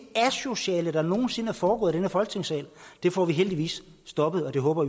asociale der nogen sinde er foregået i den her folketingssal det får vi heldigvis stoppet og det håber